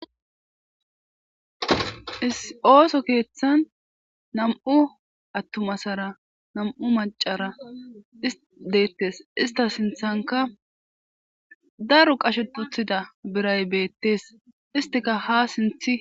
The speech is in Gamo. is ooso keeththan nam7u attuma asara nam7u macara isdeettes ista sinthanka daro qashetuthida biray beettes istika ha sinthi